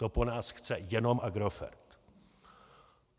To po nás chce jenom Agrofert.